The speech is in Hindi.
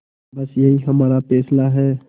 बस यही हमारा फैसला है